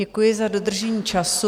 Děkuji za dodržení času.